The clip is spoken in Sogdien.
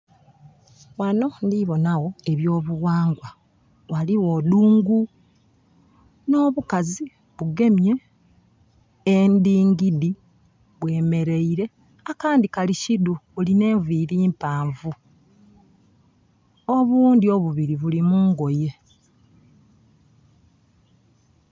Ghano ndiboona gho eby'obughangwa. Ghaligho dungu, nh'obukazi bugemye endingidi. Bwemeleire, akandhi kali kidhu, bulina enviiri mpaanvu. Obundhi obubiri buli mu ngoye.